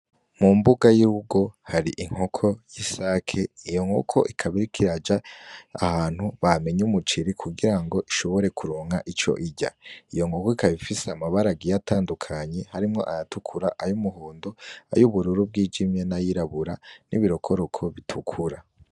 Hamwe musi y'urugo kwa eronimu impene za aluzariya ni ho ziriwe zirarisha luzariya yamaze kuzicura yatashe, ariko eronimu yashitse avuga ko impene za luzariya zamwoneye ibiterwa uburerishavurira niga eronimu yamyaco rutokeko ni yabona ruzariya muniga.